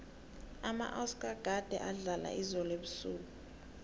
amaoscar gade adlala izolo ebusuku